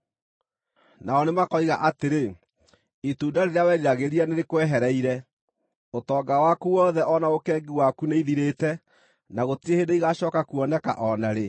“Nao nĩmakoiga atĩrĩ, ‘Itunda rĩrĩa weriragĩria nĩrĩkwehereire. Ũtonga waku wothe o na ũkengi waku nĩithirĩte, na gũtirĩ hĩndĩ igaacooka kuoneka o na rĩ.’